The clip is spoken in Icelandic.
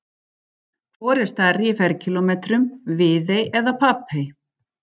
Hvor er stærri í ferkílómetrum, Viðey eða Papey?